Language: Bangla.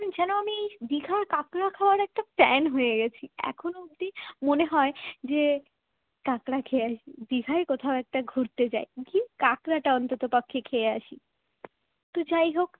দীঘার কাকড়া খাওয়ার একটা fan হয়ে গেছি এখন অব্দি মনে হয় যে কাঁকড়া খেয়ে আসি দীঘায় কোথাও একটা ঘুরতে যায় কি কাঁকড়াটা অন্ততপক্ষে খেয়ে আসি তো যাই হোক